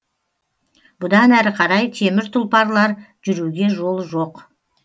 бұдан әрі қарай темір тұлпарлар жүруге жол жоқ